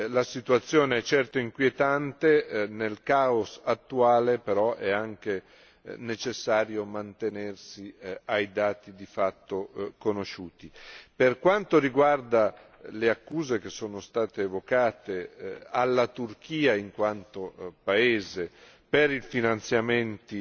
La situazione è certo inquietante nel caos attuale, però è anche necessario mantenersi ai dati di fatto conosciuti. Per quanto riguarda le accuse, che sono state evocate, alla Turchia in quanto paese per i finanziamenti